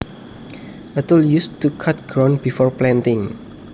A tool used to cut ground before planting